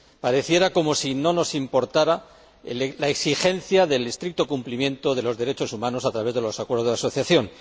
Pareciera como si no nos importara la exigencia del estricto cumplimiento de los derechos humanos a través de los acuerdos de asociación.